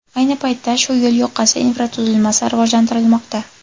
Ayni paytda shu yo‘l yoqasi infratuzilmasi rivojlantirilmoqda.